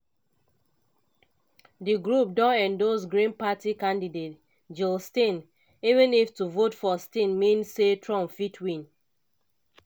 di group don endorse green party candidate jill stein even if to vote for stein mean say trump fit win.